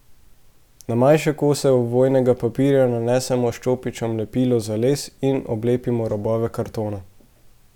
Na manjše kose ovojnega papirja nanesemo s čopičem lepilo za les in oblepimo robove kartona.